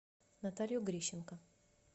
наталью грищенко